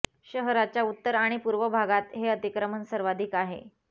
शहराच्या उत्तर आणि पूर्व भागात हे अतिक्र्रमण सर्वाधिक आहे